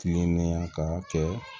Kilennenya ka kɛ